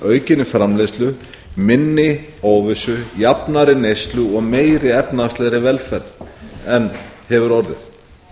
aukinni framleiðslu minni óvissu jafnari neyslu og meiri efnahagslegri velferð en hefur orðið